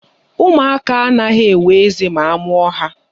Ụmụaka anaghị enwe eze ma a mụọ ha.